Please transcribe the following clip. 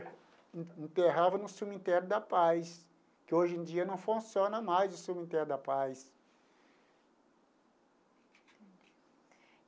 Enterrava no Cemitério da Paz, que hoje em dia não funciona mais o Cemitério da Paz.